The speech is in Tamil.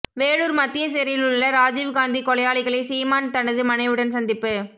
வேலூர் மத்திய சிறையிலுள்ள ராஜீவ்காந்தி கொலையாளிகளை சிமான் தனது மனைவியுடன் சந்திப்பு